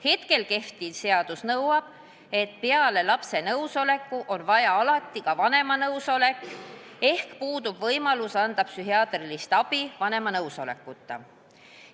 Hetkel kehtiv seadus nõuab, et peale lapse nõusoleku on alati vaja ka vanema nõusolekut, ehk puudub võimalus anda psühhiaatrilist abi vanema nõusolekuta.